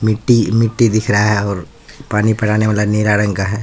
मिट्ट मिट्टी दिख रहा है और पानी पड़ाने वाला नीला रंग का है।